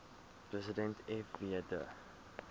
president fw de